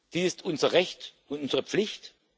Das ist unser Recht und unsere Pflicht.